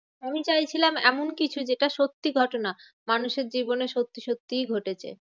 আমি চাইছিলাম এমন কিছু যেটা সত্যি ঘটনা। মানুষের জীবনে সত্যি সত্যিই ঘটেছে ঘটেছে।